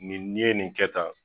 Nin n'i ye nin kɛ tan